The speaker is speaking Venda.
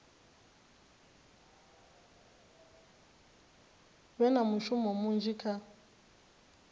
vhe na mushumo munzhi kha